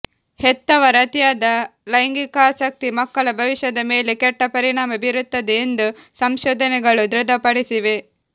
ಹೆತ್ತವರ ಅತಿಯಾದ ಲೈಂಗಿಕಾಸಕ್ತಿ ಮಕ್ಕಳ ಭವಿಷ್ಯದ ಮೇಲೆ ಕೆಟ್ಟ ಪರಿಣಾಮ ಬೀರುತ್ತದೆ ಎಂದು ಸಂಶೋಧನೆಗಳು ದೃಢಪಡಿಸಿವೆ